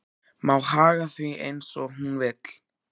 Má haga því eins og hún vill.